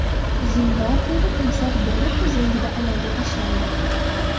Zimbabveda timsoh bola ko‘z o‘ngida ayolga tashlandi.